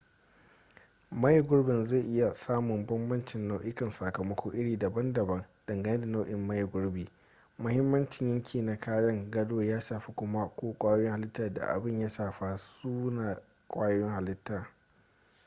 maye gurbi zai iya samun bambancin nau'ikan sakamako iri daban-daban dangane da nau'in maye gurbi mahimmancin yanki na kayan gado ya shafa kuma ko kwayoyin halita da abin ya shafa sune kwayoyin halita